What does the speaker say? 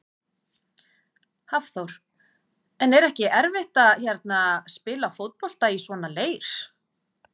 Hafþór: En er ekki erfitt að hérna, spila fótbolta í svona leir?